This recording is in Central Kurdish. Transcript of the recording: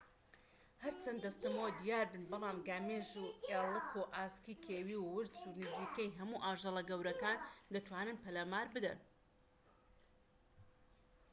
هەرچەند دەستەمۆ دیاربن بەڵام گامێش و ئێڵك و ئاسکی کێویی و ورچ و نزیکەی هەموو ئاژەڵە گەورەکان دەتوانن پەلامار بدەن